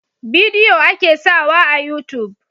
Bidiyo a ke sawa a yutub